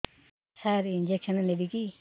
ସାର injection ନେବିକି